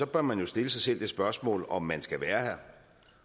bør man stille sig selv det spørgsmål om man skal være her